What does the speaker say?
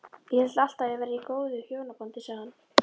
Ég hélt alltaf að ég væri í góðu hjónabandi sagði